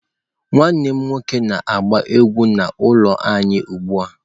Nwanne m nwoke na-agba egwu n'ụlọ anyị ugbu a.